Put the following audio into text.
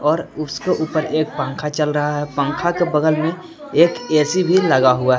और उसके ऊपर एक पंखा चल रहा है पंखा के बगल में एक ए_सी भी लगा हुआ है।